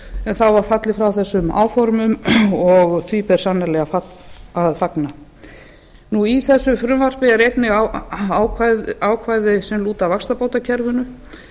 en þá var fallið frá þessum áformum og því ber sannarlega að fagna í þessu frumvarpi eru einnig ákvæði sem lúta að vaxtabótakerfinu